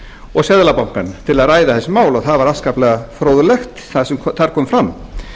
og seðlabankann til að ræða þessi mál það var afskaplega fróðlegt sem þar kom fram